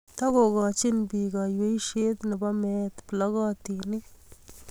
Takokochin pik kaiyweishiet ne po meet plokotinik